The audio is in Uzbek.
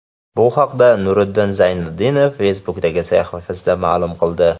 Bu haqda Nuriddin Zayniddinov Facebook’dagi sahifasida ma’lum qildi .